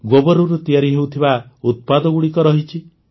ଗୋବରରୁ ତିଆରି ହେଉଥିବା ଉତ୍ପାଦଗୁଡ଼ିକ ରହିଛି